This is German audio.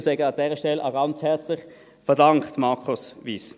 Sie seien an dieser Stelle auch ganz herzlich verdankt, Markus Wyss.